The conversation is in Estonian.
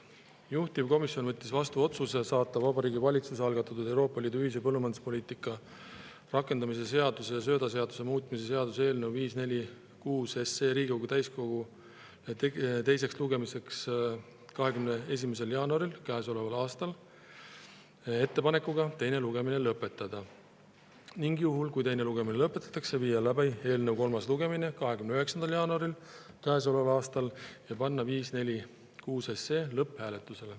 Juhtivkomisjon võttis vastu otsuse saata Vabariigi Valitsuse algatatud Euroopa Liidu ühise põllumajanduspoliitika rakendamise seaduse ja söödaseaduse muutmise seaduse eelnõu 546 Riigikogu täiskokku teiseks lugemiseks 21. jaanuaril käesoleval aastal ettepanekuga teine lugemine lõpetada ning juhul, kui teine lugemine lõpetatakse, viia läbi eelnõu kolmas lugemine 29. jaanuaril käesoleval aastal ja panna eelnõu 546 lõpphääletusele.